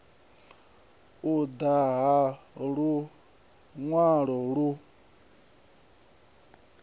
u ḓa na luṅwalo lu